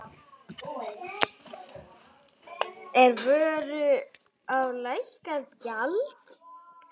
Er á vöru lækkað gjald.